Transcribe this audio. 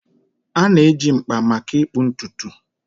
A na-eji mkpa maka ịkpụ ntutu